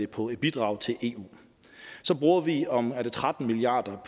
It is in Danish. på et bidrag til eu så bruger vi omkring tretten milliard